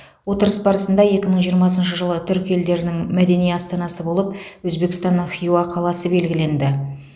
отырыс барысында екі мың жиырмасыншы жылы түрік елдерінің мәдени астанасы болып өзбекстанның хиуа қаласы белгіленді